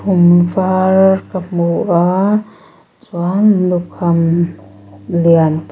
khum var ka hmu a chuan lukham lian pa--